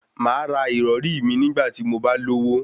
Màá ra ìrọrí mi nígbà tí mo bá lówó